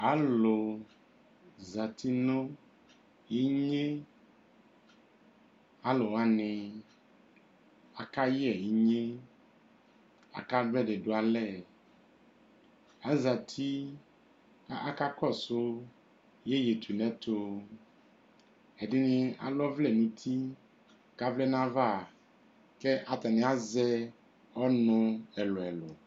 Alʋ zati nʋ inye Alʋ wani akayɛ inye, akadʋ ɛdie dʋ alɛ Azati kʋ akakɔsʋ iyeyetunɛtʋ Ɛdini alɛ ɔvlɛ nʋ ti kʋ avlɛ nʋ ayava kʋ atani azɛ ɔnʋ ɛlʋɛlʋ